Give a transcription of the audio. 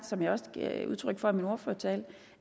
som jeg også gav udtryk for i min ordførertale